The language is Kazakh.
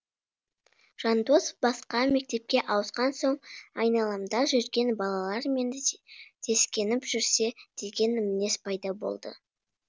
жандос басқа мектепке ауысқан соң айналамда жүрген балалармен сескеніп жүрсе деген мінез пайда болды